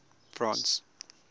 france